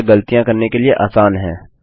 यह गलतियाँ करने के लिए आसान है